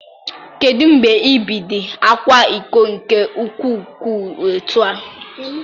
Kedu mgbe ị bid akwa iko nke ukwuu etu a?